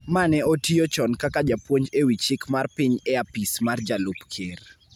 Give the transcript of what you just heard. ma ne otiyo chon kaka japuonj e wi chik mar piny e apis mar jalup Ker.